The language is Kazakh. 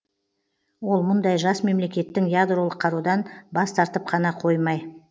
ол мұндай жас мемлекеттің ядролық қарудан бас тартып қана қоймай